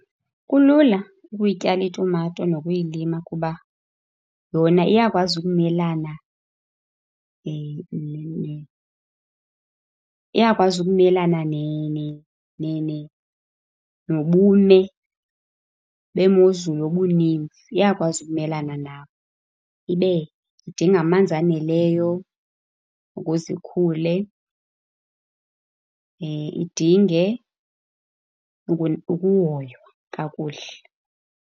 Kulula ukuyityala itumato nokuyilima kuba yona iyakwazi ukumelana iyakwazi ukumelane nobume . Iyakwazi ukumelana nawo. Ibe idinga amanzi aneleyo ukuze ikhule, idinge ukuhoywa kakuhle.